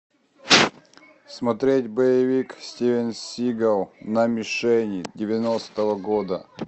смотреть боевик стивен сигал на мишени девяностого года